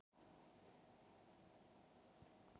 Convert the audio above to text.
Við vegaframkvæmdir þarf oft að fara hjáleið.